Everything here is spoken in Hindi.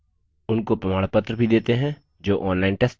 उनको प्रमाणपत्र भी देते हैं जो online test pass करते हैं